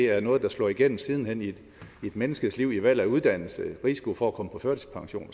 er noget der slår igennem siden hen i et menneskes liv i valg af uddannelse risiko for at komme på førtidspension og